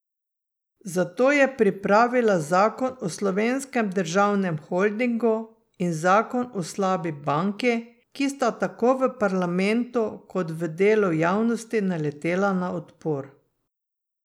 Zato je pripravila zakon o Slovenskem državnem holdingu in zakon o slabi banki, ki sta tako v parlamentu kot v delu javnosti naletela na odpor.